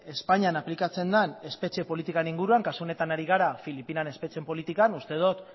espainian aplikatzen den espetxe politikaren inguruan kasu honetan ari gara filipinan espetxe politikan uste dut